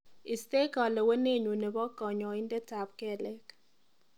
Istee kalewenenyu nebo kanyaidetap kelek.